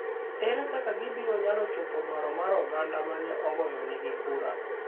ere kaka gibiro nyalo chopo dwaro mar oganda ma ne ogoyo negi kura.